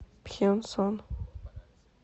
пхенсон